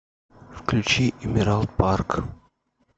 включи эмералд парк